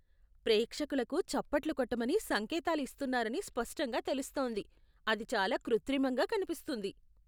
ప్రేక్షకులకు చప్పట్లు కొట్టమని సంకేతాలు ఇస్తున్నారని స్పష్టంగా తెలుస్తోంది, అది చాలా కృత్రిమంగా కనిపిస్తుంది.